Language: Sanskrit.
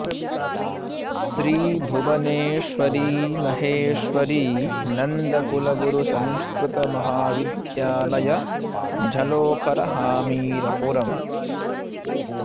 श्री भुवनेश्वरी महेश्वरी नन्द गुरुकुल संस्कृत महाविद्यालय झलोखर हमीरपुर